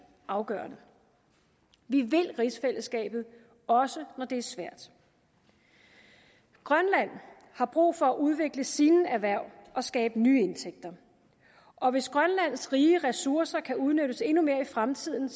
afgørende vi vil rigsfællesskabet også når det er svært grønland har brug for at udvikle sine erhverv og skabe nye indtægter og hvis grønlands rige ressourcer kan udnyttes endnu mere i fremtiden